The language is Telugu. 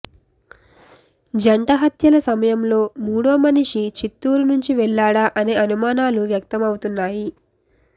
జంట హత్యల సమయంలో మూడో మనిషి చిత్తూరు నుంచి వెళ్లాడా అనే అనుమానాలు వ్యక్తమవుతున్నాయి